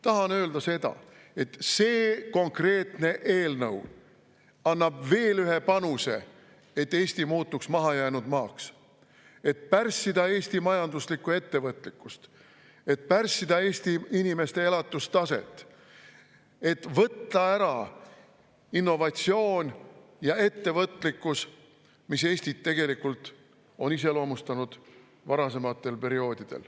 Tahan öelda seda, et see konkreetne eelnõu annab veel ühe panuse, et Eesti muutuks mahajäänud maaks, et pärssida Eesti majanduslikku ettevõtlikkust, et pärssida Eesti inimeste elatustaset, et võtta ära innovatsioon ja ettevõtlikkus, mis Eestit varasematel perioodidel on iseloomustanud.